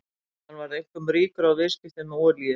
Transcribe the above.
Hann varð einkum ríkur á viðskiptum með olíu.